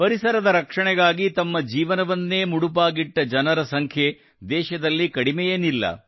ಪರಿಸರದ ರಕ್ಷಣೆಗಾಗಿ ತಮ್ಮ ಜೀವನವನ್ನೇ ಮುಡಿಪಾಗಿಟ್ಟ ಜನರ ಸಂಖ್ಯೆ ದೇಶದಲ್ಲಿ ಕಡಿಮೆಯೇನಿಲ್ಲ